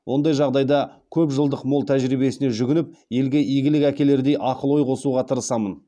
ондай жағдайда көпжылдық мол тәжірибесіне жүгініп елге игілік әкелердей ақыл ой қосуға тырысамын